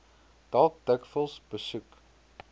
dalk dikwels besoek